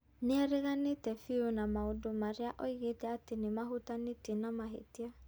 Nĩ areganĩte biũ na maũndũ marĩa oigĩte atĩ nĩ mahutanĩtie na mahĩtia.